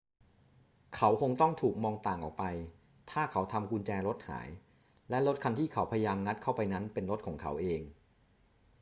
เขาคงต้องถูกมองต่างออกไปถ้าเขาทำกุญแจรถหาย และรถคันที่เขาพยายามงัดเข้าไปนั้นเป็นรถของเขาเอง